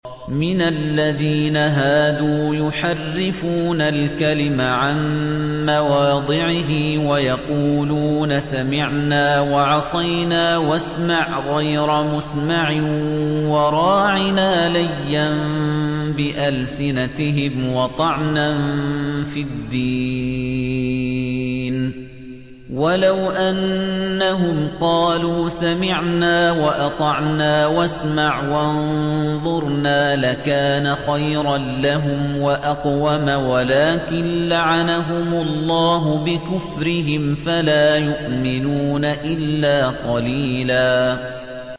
مِّنَ الَّذِينَ هَادُوا يُحَرِّفُونَ الْكَلِمَ عَن مَّوَاضِعِهِ وَيَقُولُونَ سَمِعْنَا وَعَصَيْنَا وَاسْمَعْ غَيْرَ مُسْمَعٍ وَرَاعِنَا لَيًّا بِأَلْسِنَتِهِمْ وَطَعْنًا فِي الدِّينِ ۚ وَلَوْ أَنَّهُمْ قَالُوا سَمِعْنَا وَأَطَعْنَا وَاسْمَعْ وَانظُرْنَا لَكَانَ خَيْرًا لَّهُمْ وَأَقْوَمَ وَلَٰكِن لَّعَنَهُمُ اللَّهُ بِكُفْرِهِمْ فَلَا يُؤْمِنُونَ إِلَّا قَلِيلًا